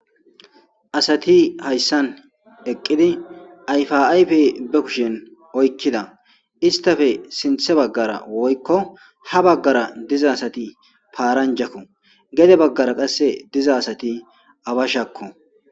asati hayssan eqqidi ayfa ayfe be kushin oykkida istafe sinthe baggara woykko ha baggara diza asati paaranjakko gede baggara qasse diza asati abashakko